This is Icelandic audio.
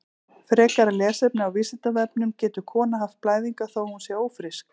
Frekara lesefni á Vísindavefnum: Getur kona haft blæðingar þó að hún sé ófrísk?